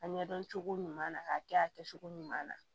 A ɲɛdɔn cogo ɲuman na k'a kɛ a kɛcogo ɲuman na